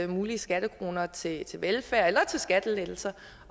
mulige skattekroner til velfærd eller til skattelettelser